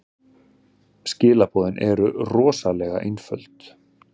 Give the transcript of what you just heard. Skilaboðin eru rosalega einföld.